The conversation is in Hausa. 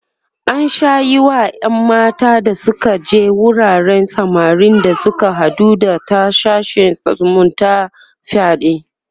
an Sha Yi Wa ƴan mata da Suka je wuraren samarin da Suka haɗu da ta sashen zumunta fyaɗe